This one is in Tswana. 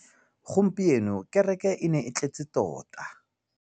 Gompieno kêrêkê e ne e tletse tota.